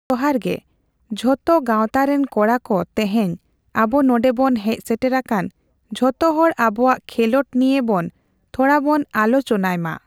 ᱡᱚᱦᱟᱨ ᱜᱮ ᱡᱷᱚᱛᱚ ᱜᱟᱣᱛᱟ ᱨᱮᱱ ᱠᱚᱲᱟ ᱠᱚ ᱛᱮᱦᱮᱧ ᱟᱵᱚ ᱱᱚᱸᱰᱮ ᱵᱚᱱ ᱦᱮᱡ ᱥᱮᱴᱮᱨ ᱟᱠᱟᱱ ᱡᱷᱚᱛᱚ ᱦᱚᱲ ᱟᱵᱚᱣᱟᱜ ᱠᱷᱮᱞᱳᱸᱰ ᱱᱤᱭᱟᱹ ᱵᱚᱱ ᱛᱷᱚᱲᱟ ᱵᱚᱱ ᱟᱞᱳᱪᱚᱱᱟᱭ ᱢᱟ ᱾